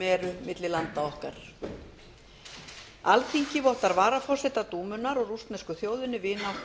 eru milli landa okkar alþingi vottar varaforseta dúmunnar og rússnesku þjóðinni vináttu og virðingu